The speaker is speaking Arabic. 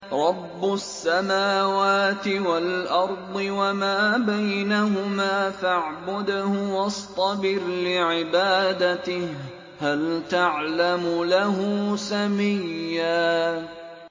رَّبُّ السَّمَاوَاتِ وَالْأَرْضِ وَمَا بَيْنَهُمَا فَاعْبُدْهُ وَاصْطَبِرْ لِعِبَادَتِهِ ۚ هَلْ تَعْلَمُ لَهُ سَمِيًّا